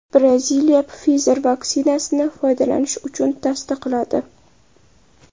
Braziliya Pfizer vaksinasini foydalanish uchun tasdiqladi.